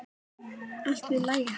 Allt vill lagið hafa.